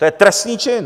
To je trestný čin!